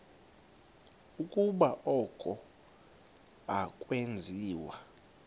ukuba oku akwenziwa